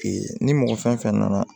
ni mɔgɔ fɛn fɛn nana